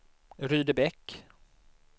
Rydebäck